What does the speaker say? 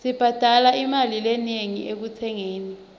sibhadale imali lenengi ekutsengeni